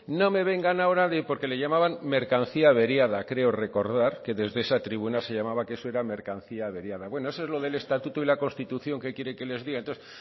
no me vengan ahora de porque le llamaban mercancía averiada creo recordar que desde esa tribuna se llamaba que eso era mercancía averiada bueno eso es lo del estatuto y la constitución que quiere que les diga